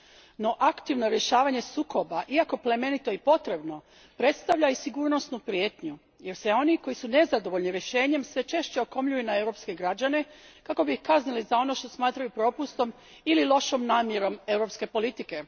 No aktivno rješavanje sukoba, iako plemenito i potrebno, predstavlja i sigurnosnu prijetnju, jer oni koji su nezadovoljni rješenjem sve češće se okomljuju na europske građane kako bi ih kaznili za ono što smatraju propustom ili lošom namjerom europske politike.